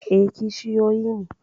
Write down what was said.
E, kishiyoyi ne.?